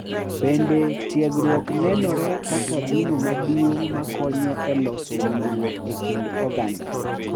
Bende, tiegruok nenore kaka gino maduong’ ma konyo e loso winjruok e kind oganda.